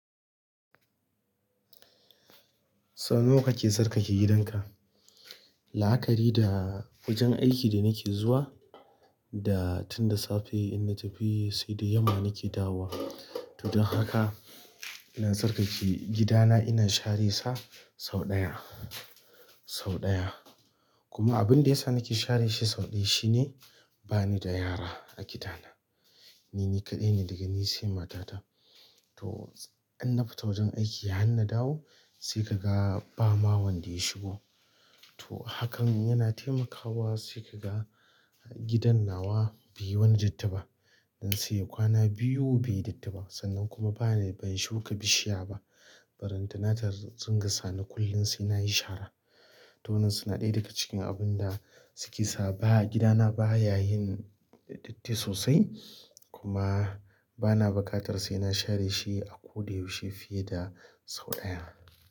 Sau nawa kake tsarkake gidanka? La'akari da wajen aiki da nake zuwa da tun da safe in na tafi sai da yamma nake dawowa. To don haka ina tsarkake gidana, ina share sa sau ɗaya, sau ɗaya. Kuma abin da yasa nake share shi sau ɗaya shine bani da yara a gidana. Nini kaɗai ne daga ni sai matata. To in na fita wajen aiki har na dawo sai kaga ba ma wanda ya shigo. To hakan yana taimakawa sai kaga gidan nawa bai wani datti ba. Ince kwana biyu baiyi datti ba sannan kuma bani, ban shuka bishiya ba. Ballanta da dunga sani kullum sai na yi shara. To wannan suna ɗaya daga cikin abun da suke sa ba, gida na baya yin datti sosai kuma bana buƙatar sai na share shi a ko da yaushe fiye da sau ɗaya.